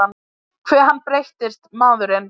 Hve hann breyttist, maðurinn.